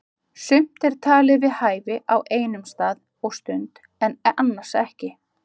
Sumt er talið við hæfi á einum stað og stund en annars ekki.